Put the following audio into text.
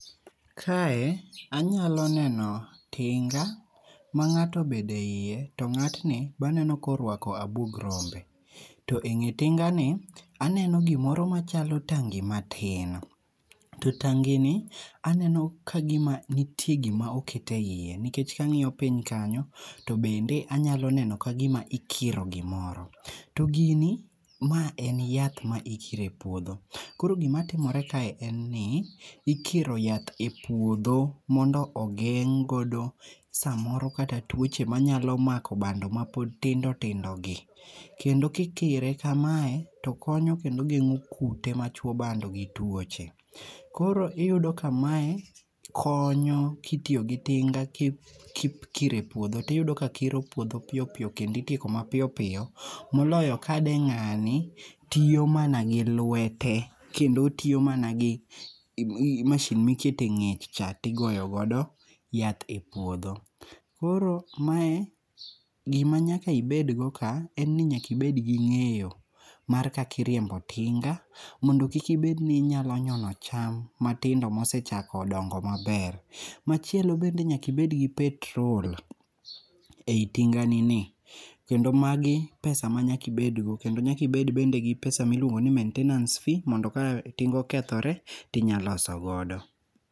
Kae anyalo neno tinga ma ng'ato obedo eiye, to ng'atni be aneno ka oruako abuog rombe. To ewi tingani aneno gimoro machalo tangi matin. To tangini aneno kagima nitie gima oket eiye. nikech ka ang'iyo piny kanyo to bende anyalo neno ka gima ikiro gimoro. To gini ma en yath maikiro e puodho koro gima timore kae en ni ikiro yath e puodho mondo ogengg' godo samoro kata toche manyalo mako bando mapod tindo tindo gi kendo kikire kamae to konyo kendo geng'o kute machuo bando gi tuoche koro iyudo kamae konyo kitiyo gi tinga kikiro e puodho to iyudo ka kiro puodho mapiyo piyo kendo ikiko mapiyo piyo moloyo ka ne ng'ani tiyo mana gi lwete kendo otiyo mana gi masin ma iketo eng'ech cha to igoyo godo yath e puodho. Koro mae gima nyaka ibed go ka en ni nyaka ibed gi ng'eyo mar kakiriembo tinga mondo kik ibed ni inyalo nyono cham matindo mosechako dongo maber. Machielo bende nyaka ibed gi petrol ei tinganini kendo magi pesa manyaka ibedgo kendo nyaka ibed gi pesa miluongo ni maintenance fee maka tinga okethore to inyalo loso godo.